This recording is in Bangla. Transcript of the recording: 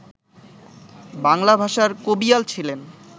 বাংলা ভাষার কবিয়াল ছিলেন